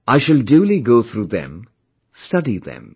I shall duly go through them, study them